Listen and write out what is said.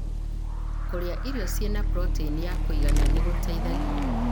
Kũrĩa irio ciĩna proteini ya kũigana nĩ gũteithagia